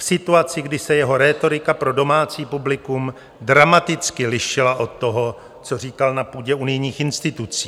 V situaci, kdy se jeho rétorika pro domácí publikum dramaticky lišila od toho, co říkal na půdě unijních institucí.